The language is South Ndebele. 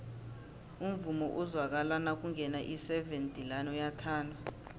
umvumo ozwakala nakungena iseven delaan uyathandwa